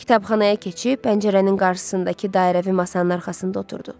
Kitabxanaya keçib pəncərənin qarşısındakı dairəvi masanın arxasında oturdu.